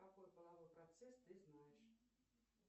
какой половой процесс ты знаешь